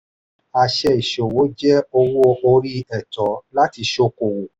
àṣẹ ìṣòwò jẹ owó-orí ẹ̀tọ́ láti sòkòwò.